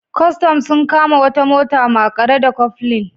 Kwastan sun kama wata mota maƙare da Cofflin.